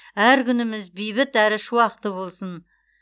әр күніміз бейбіт әрі шуақты болсын